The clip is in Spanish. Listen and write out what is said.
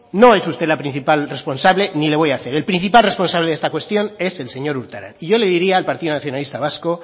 no es usted la principal responsable ni le voy a hacer el principal responsable de esta cuestión es el señor urtaran y yo le diría al partido nacionalista vasco